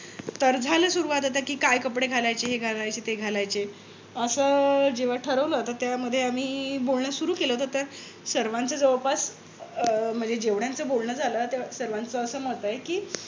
तर झालं सुरु आता काय कपडे घालायचे हे घालायचं ते घालायचे. अस जेव्हा ठरवल तर त्यामध्ये आम्ही बोलण सुरु केलं होत. तर सर्वांच जवळपास म्हणजे जेवढ्याच बोलण झालं त्या सर्वांच अस मत आहे. कि